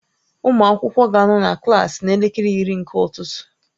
Ụmụ akwụkwọ ga-anọ na klaasị n'elekere iri nke ụtụtụ